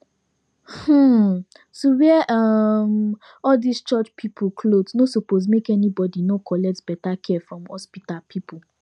um to wear um all these church people cloth nor suppose make any body nor collect beta care from hospital pipu